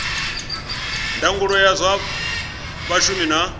ndangulo ya zwa vhashumi na